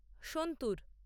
santoor